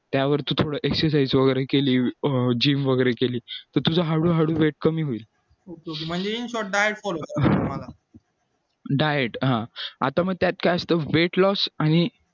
त्यावर तू थोडं exercise वगैरे केली gym वगैरे केली तर तुझा हळूहळू weight कमी होईल हा diet हा आता मग त्यात जास्त weight loss आणि